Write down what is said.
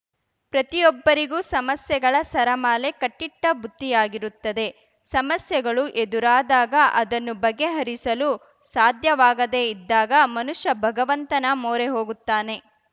ಪ್ರತಿಯೊಬ್ಬರಿಗೂ ಸಮಸ್ಯೆಗಳ ಸರಮಾಲೆ ಕಟ್ಟಿಟ್ಟಬುತ್ತಿಯಾಗಿರುತ್ತದೆ ಸಮಸ್ಯೆಗಳು ಎದುರಾದಾಗ ಅದನ್ನು ಬಗೆಹರಿಸಲು ಸಾಧ್ಯವಾಗದೇ ಇದ್ದಾಗ ಮನುಷ್ಯ ಭಗವಂತನ ಮೊರೆ ಹೋಗುತ್ತಾನೆ